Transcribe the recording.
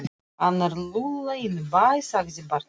Hann er lúlla inn í bæ, sagði barnið.